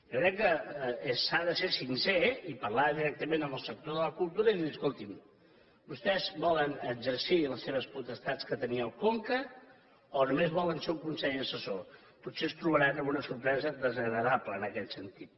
jo crec que s’ha de ser sincer i parlar directament amb el sector de la cultura i dir los escolti’m vostès volen exercir les seves potestats que tenia el conca o només volen ser un consell assessor potser es trobaran amb una sorpresa desagradable en aquest sentit